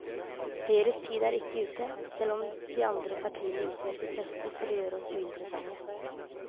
Høyres tid er ikke ute, selv om de andre partiene gjør sitt beste for å gjøre oss uinteressante.